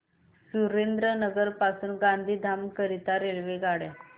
सुरेंद्रनगर पासून गांधीधाम करीता रेल्वेगाड्या